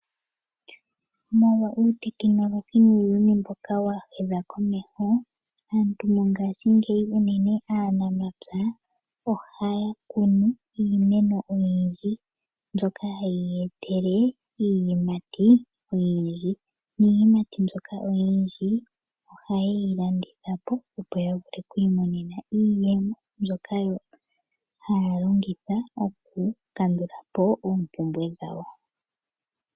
Molwa uutekinolohi nuuyuni mboka wahuma komeho . Aantu mongashingeyi unene aanamapya ohaya kunu iimeno oyindji mbyoka hayi ya etele iiyimati oyindji. Iiyimati mbyoka oyindji ohayeyi landitha po opo ya vule okwiimonena iiyemo mbyoka haya longitha okukandulapo oompumbwe dhawo.